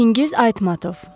Çingiz Aytmatov.